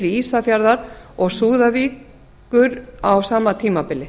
ísafjarðar og súðavíkur á sama tímabili